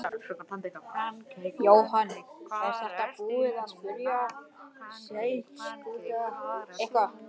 Jóhann: Eruð þið búin að skipuleggja eitthvað?